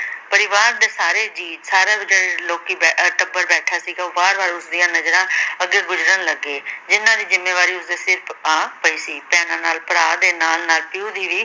ਪਰਿਵਾਰ ਦੇ ਸਾਰੇ ਜੀਅ ਸਾਰੇ ਜਿਹੜੇ ਲੋਕੀ ਬੈ ਅਹ ਟੱਬਰ ਬੈਠਾ ਸੀਗਾ ਉਹ ਬਾਰ ਬਾਰ ਉਸ ਦੀਆਂ ਨਜ਼ਰਾਂ ਅੱਗੇ ਗੁਜ਼ਰਨ ਲੱਗੇ ਜਿੰਨਾਂ ਦੀ ਜਿੰਮੇਵਾਰੀ ਉਸਦੇ ਸਿਰ ਆ ਪਈ ਸੀ ਭੈਣਾਂ ਨਾਲ ਭਰਾ ਦੇ ਨਾਲ ਨਾਲ ਪਿਓ ਦੀ ਵੀ